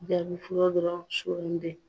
Jabi fɔlɔ dɔrɔn suwandi